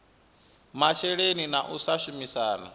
masheleni na u sa shumisana